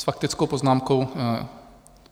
S faktickou poznámkou?